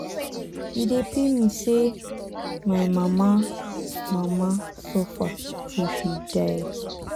e dey pain me say my mama mama suffer till she die